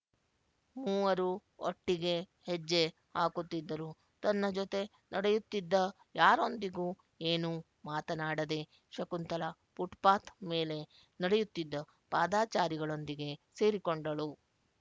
ಮೂವರೂ ಒಟ್ಟಿಗೆ ಹೆಜ್ಜೆ ಹಾಕುತ್ತಿದ್ದರೂ ತನ್ನ ಜೊತೆ ನಡೆಯುತ್ತಿದ್ದ ಯಾರೊಂದಿಗೂ ಏನೂ ಮಾತನಾಡದೆ ಶಕುಂತಲಾ ಫುಟ್‍ಪಾತ್ ಮೇಲೆ ನಡೆಯುತ್ತಿದ್ದ ಪಾದಾಚಾರಿಗಳೊಂದಿಗೆ ಸೇರಿಕೊಂಡಳು